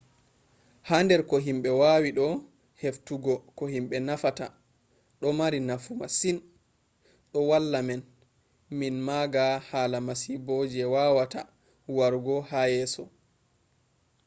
ha der ko himbe wawi do heftugo ko himbe nufata do mari nafu masin. do valla men min maaga hala masibo je wawata warugo ha yeeso